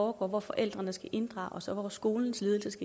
hvor forældrene skal inddrages og hvor skolens ledelse